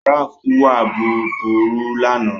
ralph huwa búburú lànà